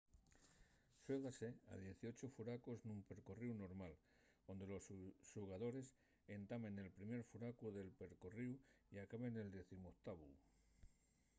xuégase a dieciocho furacos nun percorríu normal onde los xugadores entamen nel primer furacu del percorríu y acaben nel decimoctavu